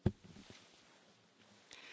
Herr Präsident, werte Kollegen!